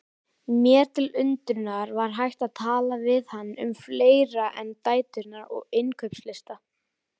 Mér til undrunar var hægt að tala við hann um fleira en dæturnar og innkaupalista.